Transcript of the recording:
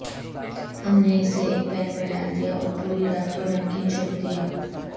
ہم نے اسے ایک پین میں ڈال دیا اور پوری رات کو نمکین چھوڑ دیا